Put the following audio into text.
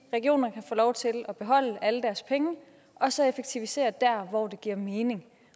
regionerne få lov til at beholde alle deres penge og så effektivisere der hvor det giver mening